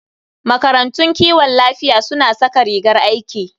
Makarantun kiwon lafiya suna saka rigar aiki.